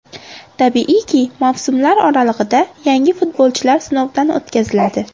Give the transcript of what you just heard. Tabiiyki, mavsumlar oralig‘ida yangi futbolchilar sinovdan o‘tkaziladi.